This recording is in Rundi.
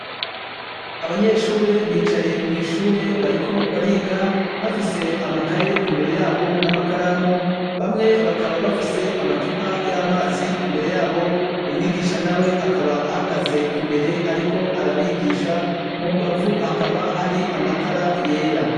Abanyeshure bicaye mw'ishure bariko bariga bafise amakaye imbere yabo n'amakaramu bamwe bakaba bafise amacupa y'amazi imbere yabo . Umwigisha na we akaba ahagaze imbere ariko arabigisha mu mbavu hakaba hari amatara yera.